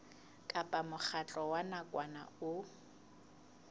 kapa mokgatlo wa nakwana o